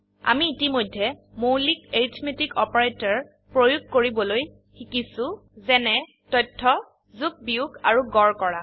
আমি ইতিমধেয়ই মৌলিক এৰিথমেটিক অপাৰেটৰপ্ৰয়োগ কৰিবলৈ শিকিছো যেনে তথ্য যোগ বিয়োগ আৰু গড় কৰা